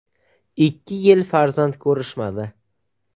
Ikki yil farzand ko‘rishmadi.